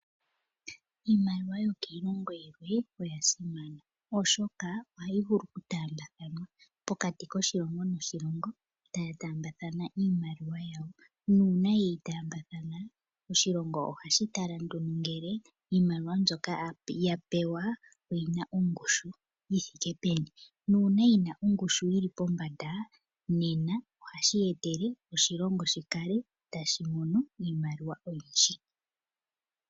Iimaliwa yokiilongo yimwe oya simana oshoka oha yi vulu oku taambathwanwa po kati koshilongo, noshilongo, ta ya taambathana iishimaliwa yawo, nuuna ye yi taambathana, oshilongo oha shi tala nduno ngele iimaliwa mbyoka yapewa oyina ongushu yithike peni, nuuna yina ongushi yili pombanda nena ohashi etele oshilongo shi kale ta shi mono iimaliwa oyindji.